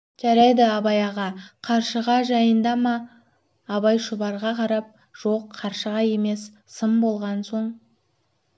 жарайды абай аға қаршыға жайында ма абай шұбарға қарап жоқ қаршыға емес сын болған соң